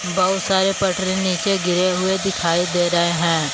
बहुत सारे पटरे नीचे गिरे हुए दिखाई दे रहे हैं।